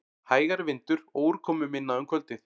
Hægari vindur og úrkomuminna um kvöldið